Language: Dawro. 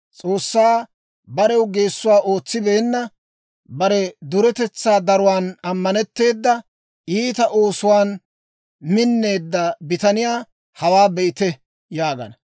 «S'oossaa barew geessuwaa ootsibeenna, bare duretetsaa daruwaan ammanetteeda, Iita oosuwaan minneedda bitaniyaa hawaa be'ite!» yaagana.